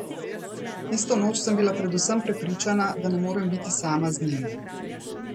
Tisto noč sem bila predvsem prepričana, da ne morem biti sama z njim.